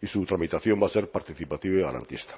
y su tramitación va a ser participativa y garantista